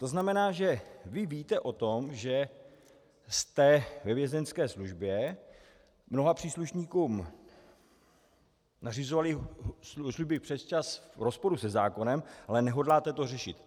To znamená, že vy víte o tom, že jste ve Vězeňské službě mnoha příslušníkům nařizovali služby přesčas v rozporu se zákonem, ale nehodláte to řešit.